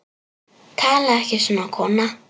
Talaðu ekki svona, kona!